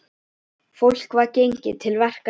Fólk var gengið til verka sinna.